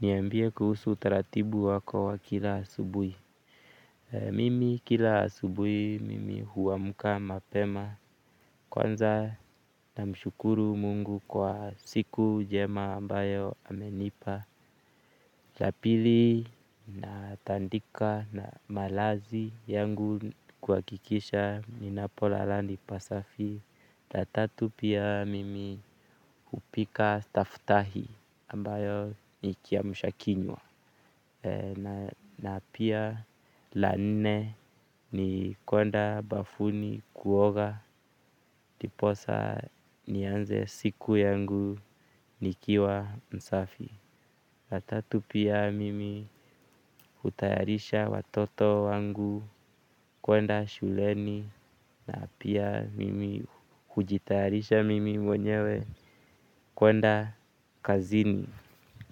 Niambie kuhusu utaratibu wako wa kila asubuhi mimi kila asubuhi mimi huamka mapema kwanza namshukuru Mungu kwa siku njema ambayo amenipa la pili natandika malazi yangu kuhakikisha ninapolala ni pasafi la tatu pia mimi hupika staftahi ambayo ni kiamsha kinywa na pia la nne ni kuenda bafuni kuoga ndiposa nianze siku yangu nikiwa msafi la tatu pia mimi hutayarisha watoto wangu kwenda shuleni na pia mimi hujitayarisha mimi mwenyewe kwenda kazini